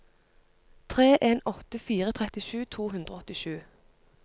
tre en åtte fire trettisju to hundre og åttisju